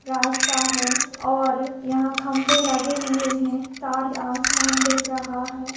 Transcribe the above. रास्ता है और यहा खंबे लगे हुए है तार आसमान दिख रहा है।